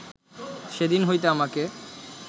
সেদিন হইতে আমাকে